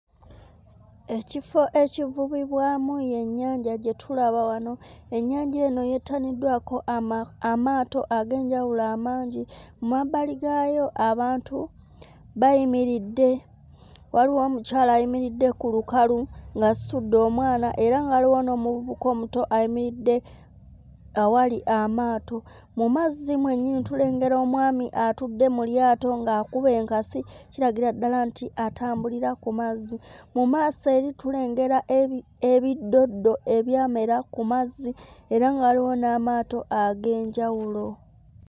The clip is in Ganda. Ekiro ekivubibwamu y'ennyanja gye tulaba wano. Ennyanja eno yeetaniddwako ama amaato ag'enjawulo amangi. Mmabbali gaayo abantu bayimiridde waliwo omukyala ayimiridde ku lukalu ng'asitudde omwana era nga waliwo omuvubuka omuto ayimiridde awali amaato. Mu mazzi mwennyini tulengera omwami atudde mu lyato ng'akuba enkasi kiragira ddala nti atambulira ku mazzi. Mu maaso eri tulengera ebi ebiddoddo ebyamera ku mazzi era nga waliwo n'amaato ag'enjawulo.